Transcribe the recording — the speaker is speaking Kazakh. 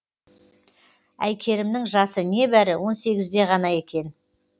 әйкерімнің жасы не бәрі он сегізде ғана екен